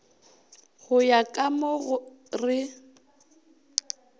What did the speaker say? go ya ka mo re